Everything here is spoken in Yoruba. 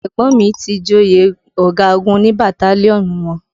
Ẹ̀gbọ́n mi ti joyè ọ̀gagun ní bataliọnú wọn